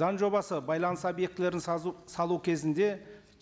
заң жобасы байланыс объектілерін салу кезінде